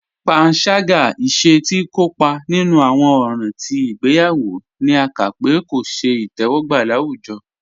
Pànságá, ìṣè tí ikópa nínu awọn òràn tí igbèyawo, ní à ká pé kò ṣẹ̀ itẹwọgba láwùjọ.